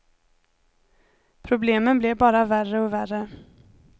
Problemen blev bara värre och värre.